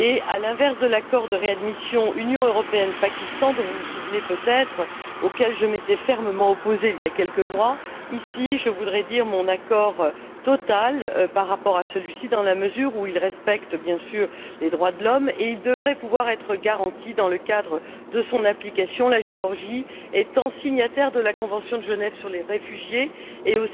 à l'inverse de l'accord de réadmission Union européenne Pakistan dont vous vous souvenez peut être auquel je m'étais fermement opposée il y a quelques mois ici, je voudrais dire mon accord total par rapport à celui ci, dans la mesure où il respecte bien sûr les droits de l'homme et où il devrait pouvoir être garanti dans le cadre de son application, la Géorgie étant signataire de la convention de Genève sur les réfugiés et